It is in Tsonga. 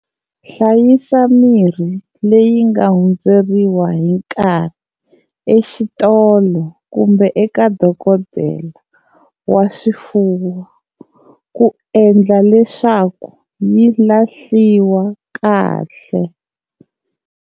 Hlayisa mirhi leyi nga hundzeriwa hi nkarhi exitolo kumbe eka dokodela wa swifuwo ku endla leswaku yi lahliwa kahle.